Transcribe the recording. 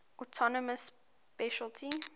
autonomous specialty